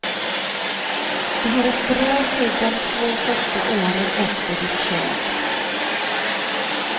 Du har ett bra skydd de två första åren efter ditt köp.